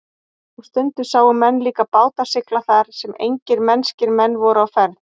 Og stundum sáu menn líka báta sigla þar sem engir mennskir menn voru á ferð.